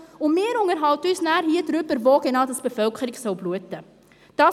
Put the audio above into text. Und wir unterhalten uns nachher hier darüber, wo genau die Bevölkerung bluten soll.